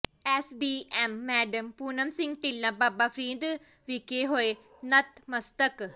SDM madam Poonam Singh Tilla Baba Farid ਵਿਖੇ ਹੋਏ ਨਤਮਸਤਕ